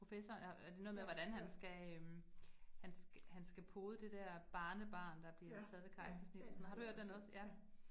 Professor og og det noget med, hvordan han skal øh han han skal pode det der barnebarn, der bliver taget ved kejsersnit, har du hørt den også?